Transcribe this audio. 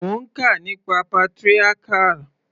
Mo ń kà nípa patriarchal.